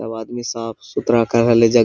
सब आदमी साफ सुथरा करेले जग--